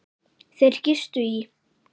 Þeir gistu í